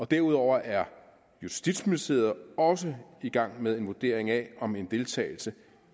derudover er justitsministeriet også i gang med en vurdering af om en deltagelse